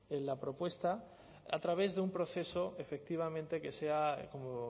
en la propuesta a través de un proceso efectivamente que sea como